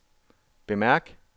bemærk